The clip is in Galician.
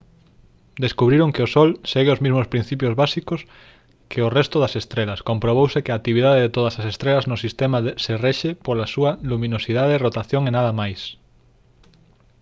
descubriron que o sol segue os mesmos principios básicos que o resto das estrelas comprobouse que a actividade de todas as estrelas no sistema se rexe pola súa luminosidade rotación e nada máis